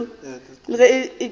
la ge a be a